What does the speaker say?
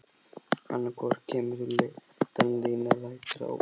Annað hvort kemur þú lyddan þín eða lætur það ógert.